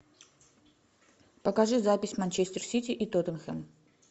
покажи запись манчестер сити и тоттенхэм